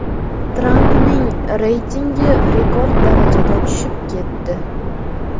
Trampning reytingi rekord darajada tushib ketdi.